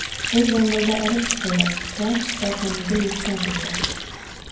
U zambilda olib chiqildi va shifoxonaga yetkazildi.